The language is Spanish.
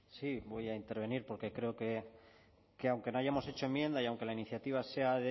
sí voy a intervenir porque creo que aunque no hayamos hecho enmienda y aunque la iniciativa sea